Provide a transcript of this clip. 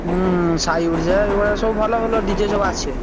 ହୁଁ ସାଇଓଡ଼ିଶା ଏଇଭଳିଆ ସବୁ ଭଲ ଭଲ DJ ସବୁ ଆସିବେ।